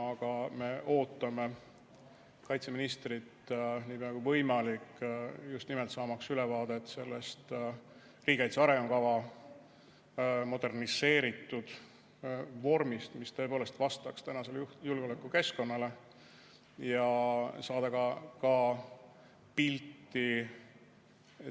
Aga me ootame kaitseministrit nii pea kui võimalik just nimelt saamaks ülevaadet sellest riigikaitse arengukava moderniseeritud vormist, mis tõepoolest vastaks tänasele julgeolekukeskkonnale, ja saamaks ka pilti